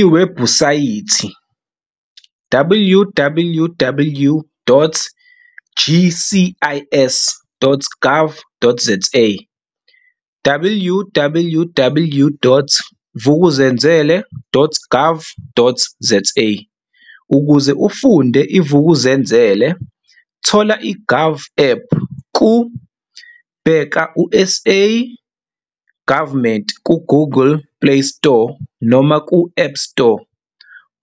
Lwebhusayithi- www.gcis.gov.zawww.vukuzenzele.gov.za Ukuze ufunde iVuk'uzenzele thola i-GOVAPP ku- Bheka uSA Government ku-Google playstore noma ku-appstore